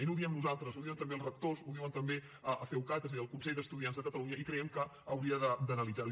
i no ho diem nosaltres ho diuen també els rectors ho diuen també a ceucat és a dir al consell d’estudiants de catalunya i creiem que hauria d’analitzar ho